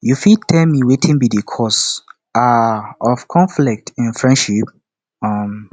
you fit tell me wetin be di cause um of conflict in friendship um